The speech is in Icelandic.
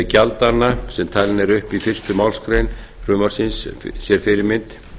gjaldanna sem talin eru upp í fyrstu málsgreinar frumvarpsins sér fyrirmynd